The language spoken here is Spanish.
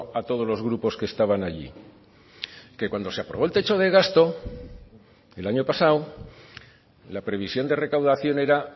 a todos los grupos que estaban allí que cuando se aprobó el techo de gasto el año pasado la previsión de recaudación era